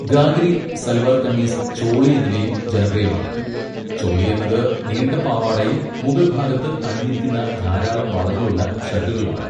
ഗാഗ്രി, സൽവാർ കമീസ്, ചോളി എന്നിവയും ജനപ്രിയമാണ്. ചോളി എന്നത് നീണ്ട പാവാടയും മുകൾ ഭാഗത്ത് അണിഞ്ഞിരിക്കുന്ന ധാരാളം വളകളുള്ള ഷർട്ടുകളുമാണ്.